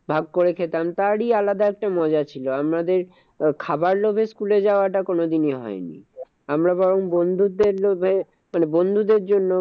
ভাগ করে খেতাম, তারই আলাদা একটা মজা ছিল। আমাদের খাবার লোভে school এ যাওয়া টা কোনো দিনই হয় নি। আমরা বরং বন্ধুদের লোভে মানে বন্ধুদের জন্য